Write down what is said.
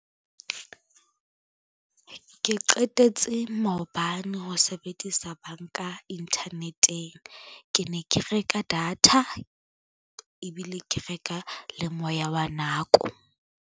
Ke qetetse maobane ho sebedisa banka inthaneteng. Ke ne ke reka data ebile ke reka le moya wa nako.